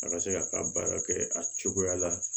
A ka se ka ka baara kɛ a cogoya la